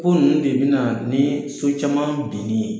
O yɛrɛ de bɛ na ni so caman binni ye.